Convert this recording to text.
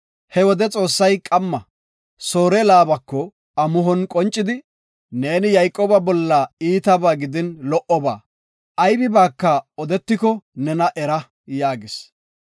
He wode Xoossay qamma Soore Laabako amuhon qoncidi, “Neeni Yayqooba bolla iitaba gidin lo77oba, aybibaaka odetiko nena era” yaagis.